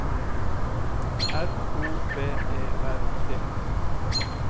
R O B E R T